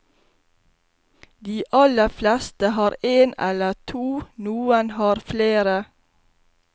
De aller fleste har en eller to, noen har flere.